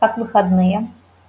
как выходные